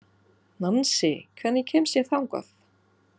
Nansý, hvernig kemst ég þangað?